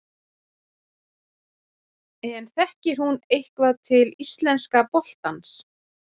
En þekkir hún eitthvað til íslenska boltans?